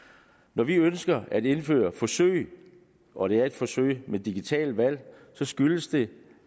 når vi ønsker at indføre forsøg og det er et forsøg med digitale valg så skyldes det